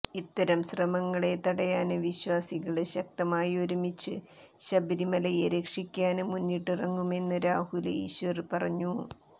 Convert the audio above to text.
ഇത്തരം ശ്രമങ്ങളെ തടയാന് വിശ്വാസികള് ശക്തമായി ഒരുമിച്ച് ശബരിമലയെ രക്ഷിക്കാന് മുന്നിട്ടിറങ്ങുമെന്ന് രാഹുല് ഈശ്വര് പറഞ്ഞു